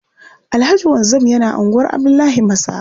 Alhaji Wanzam yana unguwar Abdullahi Masaba.